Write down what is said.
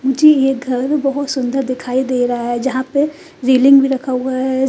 मुझे यह घर बहोत सुंदर दिखाई दे रहा है। जहां पे रेलिंग भी रखा हुआ है।